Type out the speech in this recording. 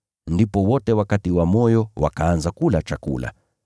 Ndipo wote wakatiwa moyo, wakaanza kula chakula.